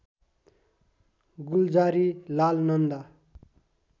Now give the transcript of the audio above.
Gulzari Lal Nanda